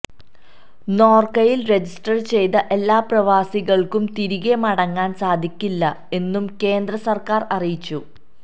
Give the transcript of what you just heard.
നോര്ക്കയില് register ചെയ്ത എല്ലാ പ്രവാസികള്ക്കും തിരികെ മടങ്ങാന് സാധിക്കില്ല എന്നും കേന്ദ്ര സര്ക്കാര് അറിയിച്ചു